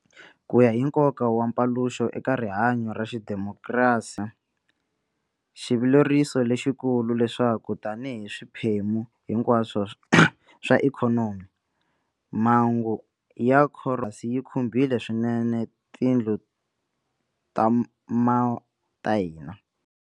Ku ya hi nkoka wa mpaluxo eka rihanyo ra xidimokirasi xa hina, xivileriso lexikulu leswaku tanihi swiphemu hinkwaswo swa ikhonomi, mhangu ya khoronavhayirasi yi khumbhile swinene tindlu ta ma ta hina.